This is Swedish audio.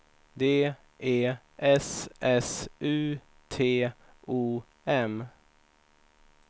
D E S S U T O M